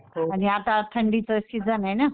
आणि आता थंडीचं सीजन आहे ना.